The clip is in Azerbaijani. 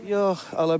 Yox, ala bilmədim.